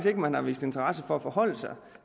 ikke man har vist interesse for at forholde sig